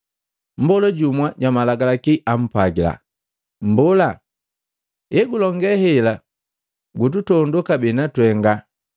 Mmbola jumu jwa Malagalaki ampwagila, “Mbola, egulonge hela gututondo kabee natwenga!”